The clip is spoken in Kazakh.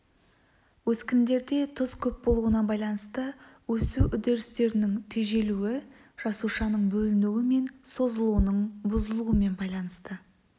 өскіндерде тұз көп болуына байланысты өсу үдерістерінің тежелуі жасушаның бөлінуі мен созылуының бұзылуымен байланысты